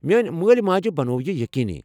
میٲنۍ مٲلۍ ماجہِ بنوو یہِ یقینی ۔